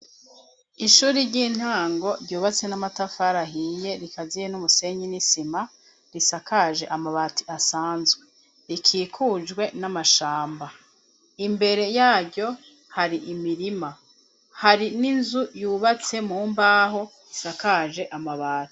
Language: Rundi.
Ishuri ry'intango ryubatse n'amatafarahiye rikaziye n'umusenyi n'isima risakaje amabati asanzwe rikikujwe n'amashamba imbere yaryo hari imirima hari n'inzu yubatse mu mbaho isakaje amabati.